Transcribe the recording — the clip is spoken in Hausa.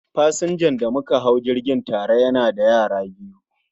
Pasanja da mauka hau jirgi tare yana da yara biyu